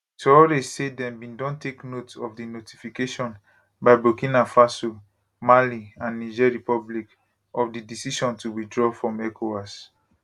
touray say dem bin don take note of di notification by burkina faso mali and niger republic of di decision to withdraw from ecowas